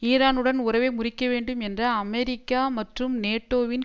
ஈரானுடன் உறவை முறிக்க வேண்டும் என்ற அமெரிக்கா மற்றும் நேட்டோவின்